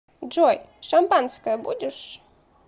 джой шампанское будешь